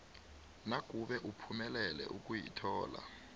nakube uphumelele ukuyithola